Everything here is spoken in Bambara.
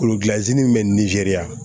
Kolokilanzin bɛ nizeriya